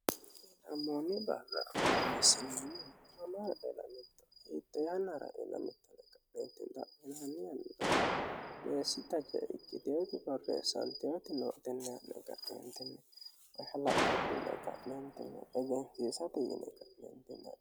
ammoonni baala horreessinenni momra ilmittohiixoyanra ilmittoeeentimmiyannira meessi tace ikkiteeci fareessaantiyati noo itennianne gaeentinni ohilacco kullo a'neentini egensiisa buyine qa'neentinne